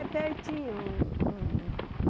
É pertinho. Um um